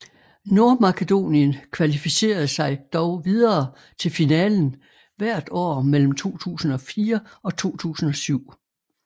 Nordmakedonien kvalificerede sig dog videre til finalen hvert år mellem 2004 og 2007